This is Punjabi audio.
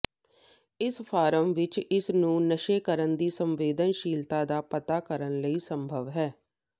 ਇਸ ਫਾਰਮ ਵਿੱਚ ਇਸ ਨੂੰ ਨਸ਼ੇ ਕਰਨ ਦੀ ਸੰਵੇਦਨਸ਼ੀਲਤਾ ਦਾ ਪਤਾ ਕਰਨ ਲਈ ਸੰਭਵ ਹੈ